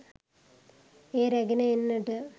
එය රැගෙන එන්නට